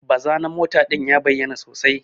Baza na mota din ya bayyana sosai.